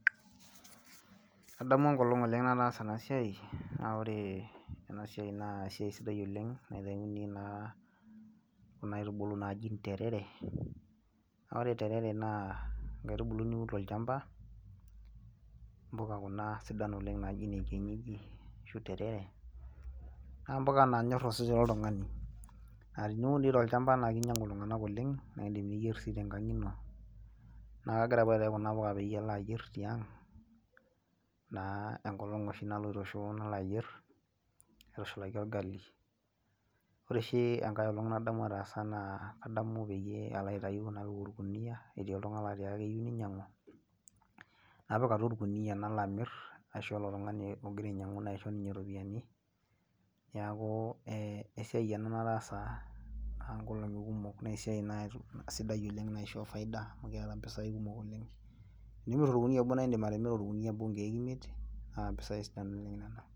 Adamu enkolong oleng nataasa ena siai naa ore ena siai naa esiai sidai oleng neuni naa kuna aitubulu naaji interere naa ore interere naa inkaitubulu sidai oleng nauni tolchamba impuka kuna sidan oleng inaaji ashuu terere naa impuka naanyor osesen loltung'ani naa teniun doi tolchamba naaa keinyiang'u iltung'anak oleng nindiim niyier sii tenkang ino naa kegira apa aitayu kuna puka paalo ayier tiang naa enkolong oshi naloito shoo nalo ayier aitushulaki orgali ore oshi enkae olong nadamu ataasa naa adamu peyie aloitayu naitayu orkuniyia etii oltung'ani laatii keyieu neinyiang'u napik atua orkuniyia nalo amir naisho ilo tung'ani naisho ninye iropiyiani neeku esiai ena nataasa aaankolong'i kumok naa esiai sidai oleng naishoo faida amu keeta impisai kumok oleng teneiput orkunia obo naa indiim atimira orkuniyia obo inkiek imiet naa impisai sidain nena